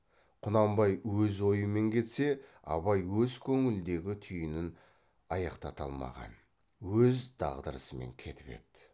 құнанбай өз ойымен кетсе абай өз көңіліндегі түйінін аяқтата алмаған өз дағдарысымен кетіп еді